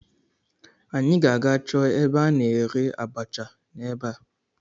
Anyị ga-aga chọọ ebe a na-ere abacha n'ebea